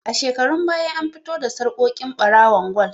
A shekarun baya an fito da sarƙoƙi ɓarawon gwal